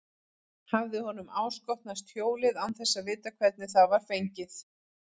Hafði honum áskotnast hjólið án þess að vita hvernig það var fengið?